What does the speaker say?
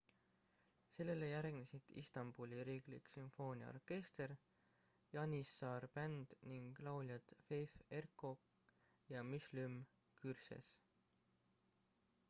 sellele järgnesid istanbuli riiklik sümfooniaorkester janissar band ning lauljad fatih erkoç ja müslüm gürses